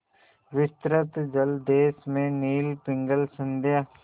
विस्तृत जलदेश में नील पिंगल संध्या